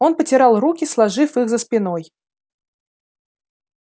он потирал руки сложив их за спиной